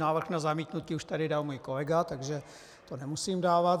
Návrh na zamítnutí už tady dal můj kolega, takže ho nemusím dávat.